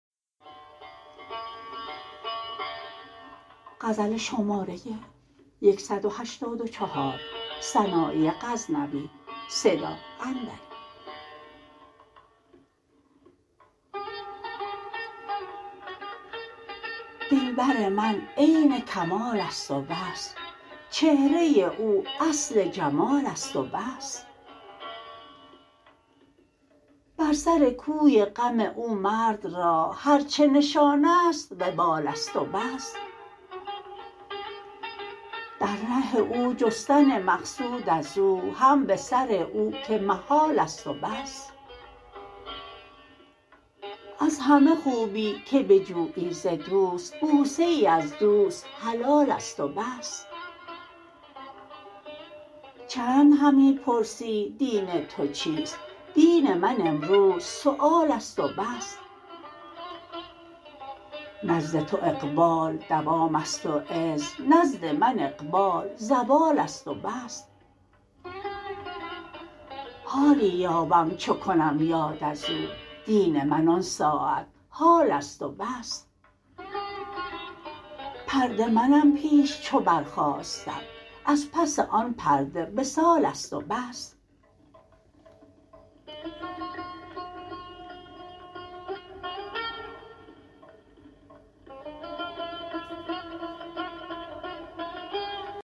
دلبر من عین کمالست و بس چهره او اصل جمالست و بس بر سر کوی غم او مرد را هر چه نشانست وبالست و بس در ره او جستن مقصود از او هم به سر او که محالست و بس از همه خوبی که بجویی ز دوست بوسه ای از دوست حلالست و بس چند همی پرسی دین تو چیست دین من امروز سوالست و بس نزد تو اقبال دوامست و عز نزد من اقبال زوالست و بس حالی یابم چو کنم یاد ازو دین من آن ساعت حالست و بس پرده منم پیش چو برخاستم از پس آن پرده وصالست و بس